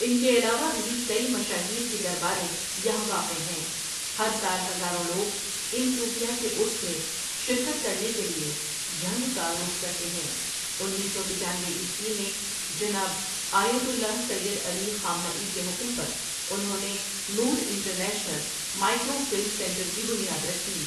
ان کے علاوہ بھی کئی مشاہیر کی درباریں یہاں واقع ہیں ہر سال ہزاروں لوگ ان صوفیاء کے عرس میں شرکت کرنے کے لیے جھنگ کا رُخ کرتے ہیں انیس سو پچانوے عیسوی میں جناب آیۃ اللہ سید علی خامنہ ای کے حکم پر انہوں نے Noor international microfilm centre کی بنیاد رکھی ۔